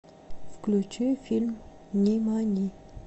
включи фильм нимани